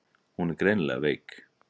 Hún er greinilega veik.